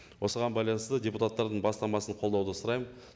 осыған байланысты депуттардың бастамасын қолдауды сұраймын